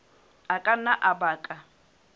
a ka nna a baka